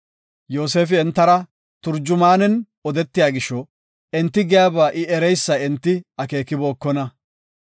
Yoosefi entara turjumaanen odetiya gisho enti giyaba I ereysa enti akeekibokona;